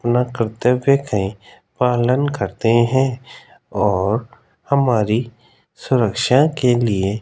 मना करते हुए कहीं पालन करते हैं और हमारी सुरक्षा के लिए --